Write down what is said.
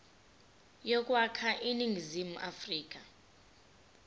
yokwakha iningizimu afrika